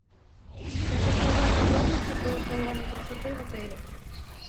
я хочу узнать подробности про салоны красоты в отеле